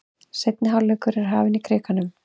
Seinni hálfleikur er hafinn í Krikanum